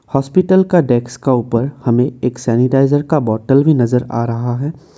Hospital का desk का ऊपर हमें एक सैनिटाइजर का बॉटल भी नजर आ रहा है।